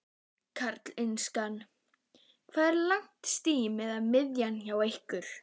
Karl Eskil: Hvað er langt stím á miðin hjá ykkur?